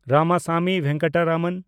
Ramaswamy Venkataraman